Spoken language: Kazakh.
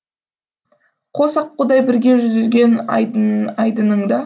қос аққудай бірге жүзген айдыныңда